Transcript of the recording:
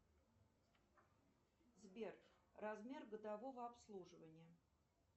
сбер размер годового обслуживания